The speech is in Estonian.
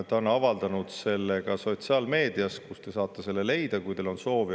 Ta on avaldanud selle ka sotsiaalmeedias, kust te saate selle leida, kui teil on soovi.